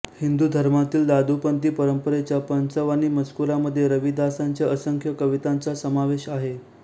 हिंदू धर्मातील दादूपंथी परंपरेच्या पंच वाणी मजकुरामध्ये रविदासांच्या असंख्य कवितांचा समावेश आहे